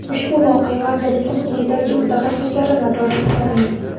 Ushbu voqea vazirlikning yetakchi mutaxassislari nazoratiga olingan.